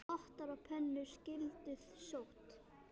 Pottar og pönnur skyldu sótt.